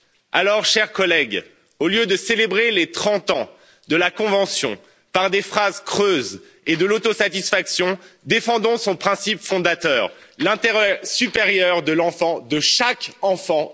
Alors, chers collègues, au lieu de célébrer les trente ans de la convention par des phrases creuses et de l'autosatisfaction, défendons son principe fondateur, l'intérêt supérieur de l'enfant, de chaque enfant....